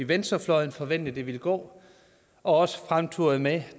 venstrefløjen forventede det ville gå og også fremturede med